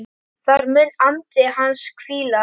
Þar mun andi hans hvíla.